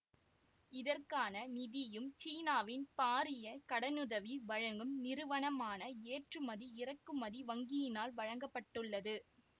இதற்கான நிதியும் சீனாவின் பாரிய கடனுதவி வழங்கும் நிறுவனமான ஏற்றுமதி இறக்குமதி வங்கியினால் வழங்க பட்டுள்ளது